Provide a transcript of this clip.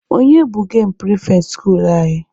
Onye bụ gemụ pịrịfetị skuulu anyị?